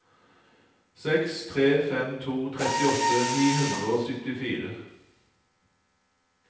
seks tre fem to trettiåtte ni hundre og syttifire